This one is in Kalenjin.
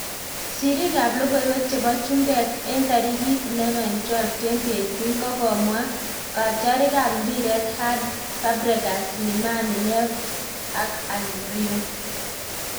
Siriik ab lokoiwek chebo chmbek en tarikit 11.12.2018 kokomwa katyarik ab mpiret Hard, Fabregas, Slimani, Neves ak Almrion